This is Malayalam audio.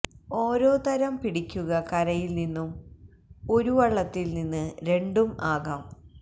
ഓരോതരം പിടിക്കുക കരയിൽ നിന്നും ഒരു വള്ളത്തിൽ നിന്ന് രണ്ടും ആകാം